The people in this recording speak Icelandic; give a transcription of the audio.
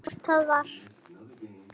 Hvort það var!